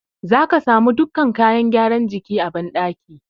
Za ka samu dukkan kayan gyara jiki a banɗaki.